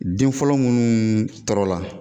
Den fɔlɔ munnu tɔɔrɔ la.